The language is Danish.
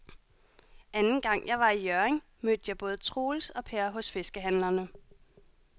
Anden gang jeg var i Hjørring, mødte jeg både Troels og Per hos fiskehandlerne.